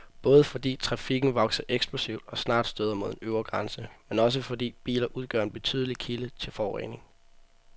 Både fordi trafikken vokser eksplosivt og snart støder mod en øvre grænse, men også fordi biler udgør en betydelig kilde til forurening.